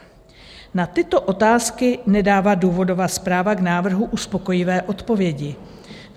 Na tyto otázky nedává důvodová zpráva k návrhu uspokojivé odpovědi.